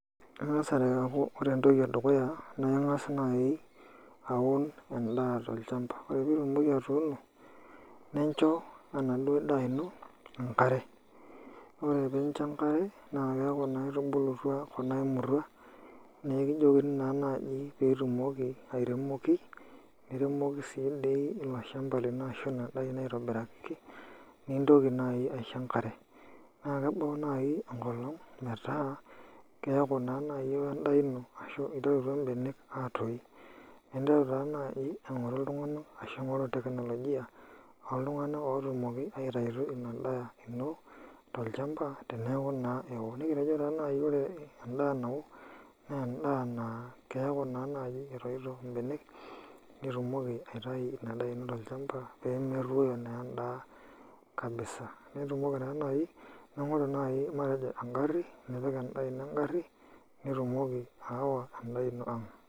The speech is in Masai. Keng'as aaku ore entoki edukuya naa angas nai aun endaa tolchamba, ore piitumoki atuuno nincho enaduo daa ino engare Ore piincho engare naa eaku naa etubulutua kuna aimurhua nekijokini naa naaji piitumoki airemoki niremoki dii sii olchamba lino aitibiraki nitoki nai aisho engare Naa kebul nai engolong metaa keeku naa nai ewo en'daa ino ashu iterutua im'benek atoyu, ninteru taa nai aing'uru iltunganak ashu ing'oru teknolojia oltung'anak ootumoki aitayu ina daa ino tolchamba teneeku naa. Nekitejo nai ore en'daa nawo naa en'daa naa keeku naa nai etoito im'benek nitumoki aitayu ina daa ino tolchamba peemetoyu naa en'daa kabisa Ning'oru nai matejo engarhi nipik endaa ino engarhi nitumoki aawa endaa ino ang'